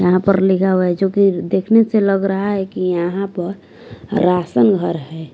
यहां पर लिखा हुआ है जो कि देखने से लग रहा है कि यहां पर राशन घर है।